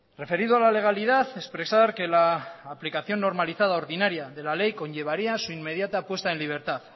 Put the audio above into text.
referido a la legalidad expresar que la aplicación normalizada ordinaria de la ley conllevaría su inmediata puesta en libertad